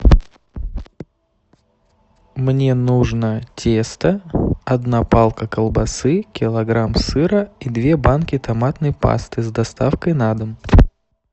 мне нужно тесто одна палка колбасы килограмм сыра и две банки томатной пасты с доставкой на дом